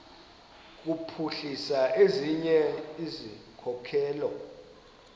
kuphuhlisa ezinye izikhokelo